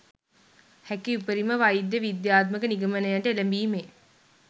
හැකි උපරිම වෛද්‍ය විද්‍යාත්මක නිගමනයට එළඹීමේ